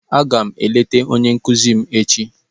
Aga m eleta onye nkuzi m echi.